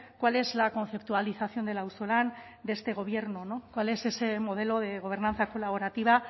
cuál es la conceptualización del auzolan de este gobierno no cuál es ese modelo de gobernanza colaborativa